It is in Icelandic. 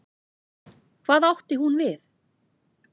Hvað átti hún við?